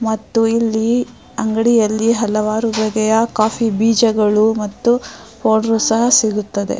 ಮತ್ತು ಇಲ್ಲಿ ಅಂಗಡಿಯಲ್ಲಿ ಹಲವಾರು ಬಗೆಯ ಕಾಫಿ ಬೀಜಗಳು ಮತ್ತು ಪೌಡರ್ ಸಹ ಸಿಗುತ್ತದೆ.